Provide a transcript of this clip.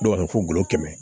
Dɔw bɛ fɔ kɛmɛ